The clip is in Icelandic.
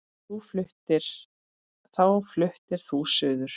Þá fluttir þú suður.